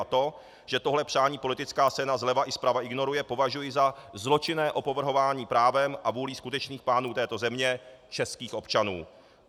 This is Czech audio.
A to, že tohle přání politická scéna zleva i zprava ignoruje, považuji za zločinné opovrhování právem a vůlí skutečných pánů této země, českých občanů.